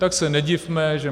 Tak se nedivme, že